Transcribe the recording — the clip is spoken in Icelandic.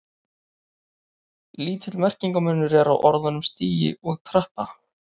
Lítill merkingarmunur er á orðunum stigi og trappa.